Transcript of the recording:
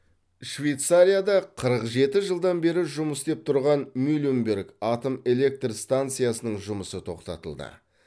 швейцарияда қырық жеті жылдан бері жұмыс істеп тұрған мюленберг атом электр станциясының жұмысы тоқтатылды